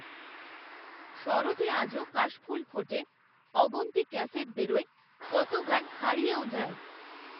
শরতে আজও কাশফুল ফোটে, অগুন্তি ক্যাসেট বেরোয়, কত গান হারিয়েও যায়